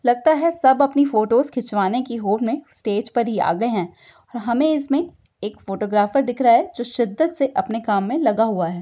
लगता है सब अपनी फोटोज़ खिचवाने की होर में स्टेज पर ही आ गए है और हमें इसमें एक फोटोग्राफेर दिख रहा है जो सिद्दत से अपने काम में लगा हुवा है।